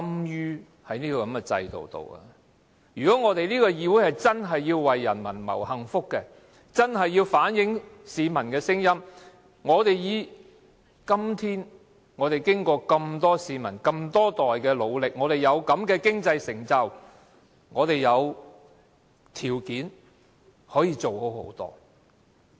如果這個議會真的要為人民謀幸福，真的要反映市民的聲音，經過這麼多市民、這麼多代人的努力，我們今天有這樣的經濟成就，我們有條件可以做得更好。